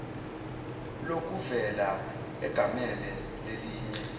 lokuvela egamele lelinye